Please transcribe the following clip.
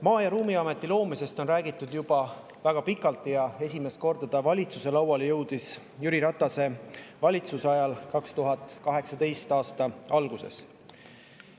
Maa‑ ja Ruumiameti loomisest on räägitud juba väga pikalt ja esimest korda jõudis see valitsuse lauale Jüri Ratase valitsuse ajal 2018. aasta alguses.